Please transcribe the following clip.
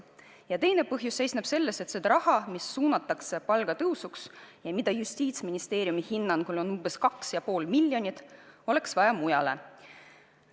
Ja teine põhjus seisneb selles, et seda raha, mis suunatakse palgatõusuks ja mida Justiitsministeeriumi hinnangul on 2,5 miljonit, oleks vaja mujale.